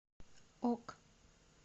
ок